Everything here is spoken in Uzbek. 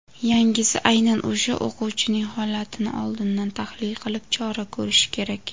yangisi aynan o‘sha o‘quvchining holatini oldindan tahlil qilib chora ko‘rishi kerak.